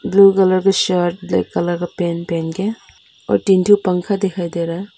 Blue colour का shirt black colour का pant पहन के और तीन ठो पंखा दिखाई दे रहा है।